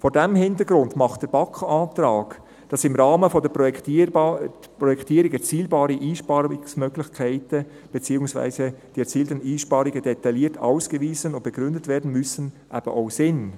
Vor diesem Hintergrund macht der BaK-Antrag, dass im Rahmen der Projektierung erzielbare Einsparmöglichkeiten beziehungsweise die erzielten Einsparungen detailliert ausgewiesen und begründet werden müssen, eben auch Sinn.